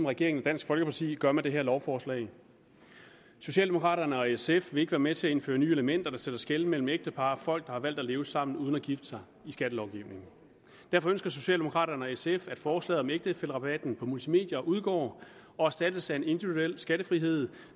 regeringen og dansk folkeparti gør med det her lovforslag socialdemokraterne og sf vil ikke være med til at indføre nye elementer der sætter skel mellem ægtepar og folk der har valgt at leve sammen uden at gifte sig og derfor ønsker socialdemokraterne og sf at forslaget om ægtefællerabatten på multimedier udgår og erstattes af en individuel skattefrihed